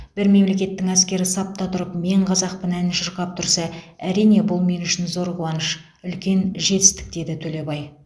бір мемлекеттің әскері сапта тұрып мен қазақпын әнін шырқап тұрса әрине бұл мен үшін зор қуаныш үлкен жетістік деді төлебай